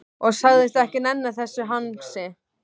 Og sagðist ekki nenna þessu hangsi.